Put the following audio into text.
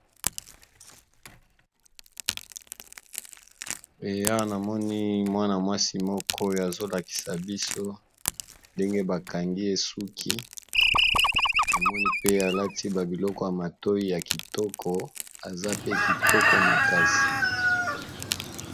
Eya namoni mwana mwasi moko azolakisa biso ndenge bakangi ye suki namoni pe alati ba biloko ya matoyi ya kitoko aza pe kitoko makasi